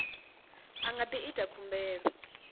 a nga ḓi ita khumbelo